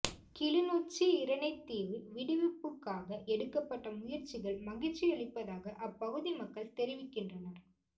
கிளிநொச்சி இரணைதீவு விடுவிப்புக்காக எடுக்கப்பட்ட முயற்சிகள் மகிழ்ச்சியளிப்பதாக அப்பகுதி மக்கள் தெரிவிக்கின்றனர்